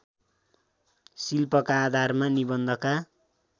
शिल्पका आधारमा निबन्धका